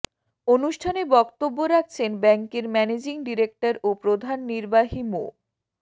অনুষ্ঠানে বক্তব্য রাখছেন ব্যাংকের ম্যানেজিং ডিরেক্টর ও প্রধান নির্বাহী মো